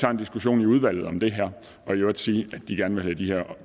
tager en diskussion i udvalget om det her og i øvrigt sige at de gerne vil have de her